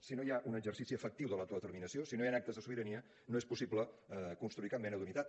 si no hi ha un exercici efectiu de l’autodeterminació si no hi han actes de sobirania no és possible construir cap mena d’unitat